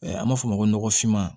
An b'a fɔ o ma ko nɔgɔfinman